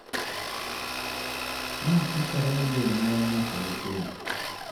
Ma chakore gi jonyuol nyaka nyithindo.